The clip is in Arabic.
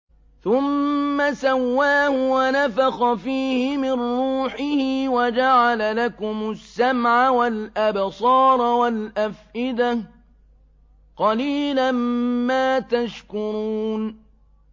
ثُمَّ سَوَّاهُ وَنَفَخَ فِيهِ مِن رُّوحِهِ ۖ وَجَعَلَ لَكُمُ السَّمْعَ وَالْأَبْصَارَ وَالْأَفْئِدَةَ ۚ قَلِيلًا مَّا تَشْكُرُونَ